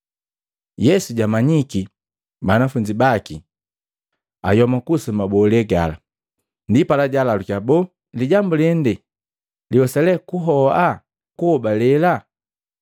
Yesu jamanyiki banafunzi baki ayoma kuhusu mabolee gala, ndipala jaalalukiya, “Boo lijambu lende liwesa lee kuhoa kuhobalela?